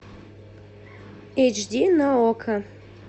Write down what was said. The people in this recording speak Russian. эйч ди на окко